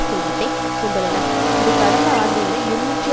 செல்வத்தை கொண்டுள்ளன இது கடந்த ஆண்டை விட இருநூற்றி